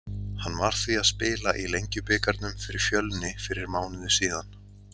Hann var því að spila í Lengjubikarnum fyrir Fjölni fyrir mánuði síðan.